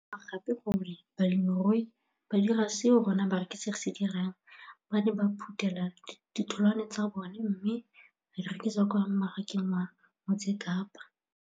Ke ne ka lemoga gape gore balemirui ba dira seo rona barekisi re se dirang, ba ne ba phuthela ditholwana tsa bona mme ba di rekisa kwa marakeng wa Motsekapa.